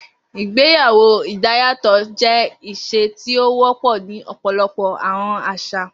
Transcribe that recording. Igbeyawo idayatọ jẹ iṣe ti o wọpọ ni ọpọlọpọ awọn aṣa.